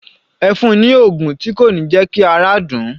Ẹ fun ni oògùn tí kò ní jẹ́ kí ara dùn ún